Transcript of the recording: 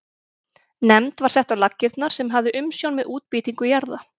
Nefnd var sett á laggirnar sem hafði umsjón með útbýtingu jarða.